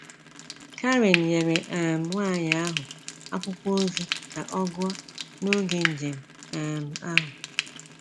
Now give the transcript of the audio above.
Karen nyere um nwanyi ahụ akwụkwọ ozi ka ọ gụọ n’oge njem um ahụ.